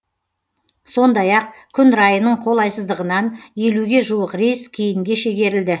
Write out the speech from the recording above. сондай ақ күн райының қолайсыздығынан елуге жуық рейс кейінге шегерілді